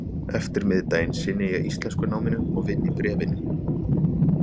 eftirmiðdaginn sinni ég íslenskunáminu og vinn í Bréfinu.